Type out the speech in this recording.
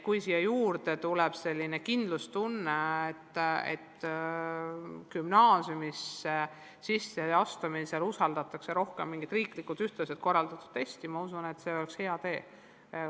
Kui siia juurde tuleb kindlustunne, et gümnaasiumisse sisseastumisel usaldatakse rohkem mingit riiklikult korraldatud ühtset testi, siis see oleks väga hea.